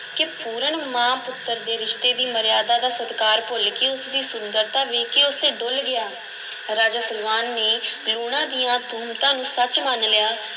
ਕਿ ਪੂਰਨ ਮਾਂ-ਪੁੱਤਰ ਦੇ ਰਿਸ਼ਤੇ ਦੀ ਮਰਯਾਦਾ ਦਾ ਸਤਿਕਾਰ ਭੁੱਲ ਕੇ ਉਸ ਦੀ ਸੁੰਦਰਤਾ ਵੇਖ ਕੇ ਉਸ 'ਤੇ ਡੁੱਲ੍ਹ ਗਿਆ, ਰਾਜਾ ਸਲਵਾਨ ਨੇ ਲੂਣਾ ਦੀਆਂ ਤੁਹਮਤਾਂ ਨੂੰ ਸੱਚ ਮੰਨ ਲਿਆ